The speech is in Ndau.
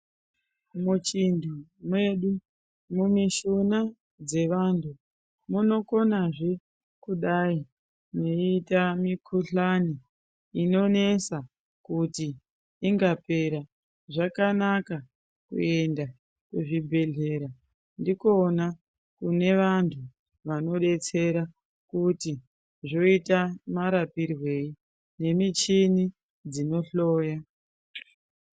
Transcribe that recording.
Muchintu mwedu mumishuna dzevantu munokonazve kudai mweita mikuhlani inonesa kuti ingapera zvakanaka kuenda kuzvibhedhlera ndikona kune vantu vanodetsera kuti zvoita marapirwei nemichini dzinohloya.